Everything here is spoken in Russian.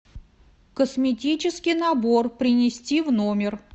косметический набор принести в номер